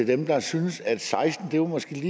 dem der syntes at seksten år måske er